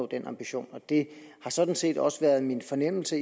den ambition og det har sådan set også været min fornemmelse